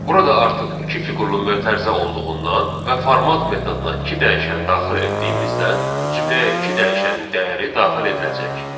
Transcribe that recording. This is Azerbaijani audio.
Burada artıq iki fiqurlu mötərizə olduğundan və format metoduna iki dəyişən daxil etdiyimizdən cümləyə iki dəyişənin dəyəri daxil ediləcək.